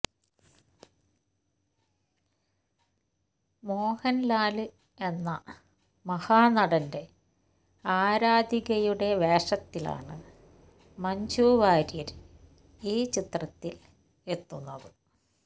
മോഹന്ലാല് എന്ന മഹാനടന്റെ ആരാധികയുടെ വേഷത്തിലാണ് മഞ്ജുവാര്യര് ഈ ചിത്രത്തില് എത്തുന്നത്